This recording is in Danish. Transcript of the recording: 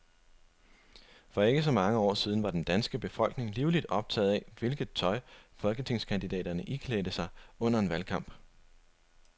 For ikke så mange år siden var den danske befolkning livligt optaget af, hvilket tøj folketingskandidaterne iklædte sig under en valgkamp.